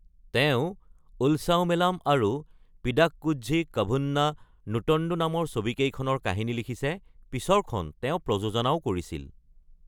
তেওঁ উলছাৱমেলাম আৰু পিডাককোঝি ক’ভুন্না নুটণ্ডু নামৰ ছবিকেইখনৰ কাহিনী লিখিছে, পিছৰখন তেওঁ প্ৰযোজনাও কৰিছিল।